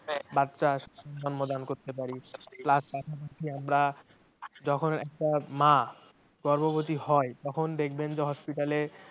বাচ্চা জন্মদান করতে পারি plus পাশাপাশি আমরা যখন একটা মা গর্ভবতী হয় তখুন দেখবেন যে hospital এ